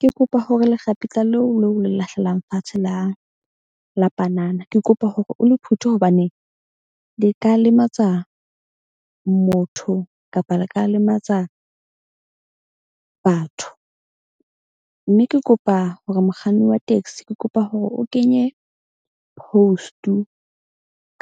Ke kopa hore lekgapetla leo leo le lahlelang fatshe la panana. Ke kopa hore o le phuthe hobaneng le ka lematsa motho kapa le ka lematsa batho. Mme ke kopa hore mokganni wa taxi ke kopa hore o kenye post-u